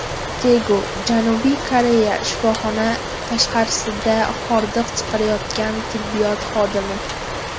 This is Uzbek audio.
Tegu, Janubiy Koreya Shifoxona tashqarisida hordiq chiqarayotgan tibbiyot xodimi.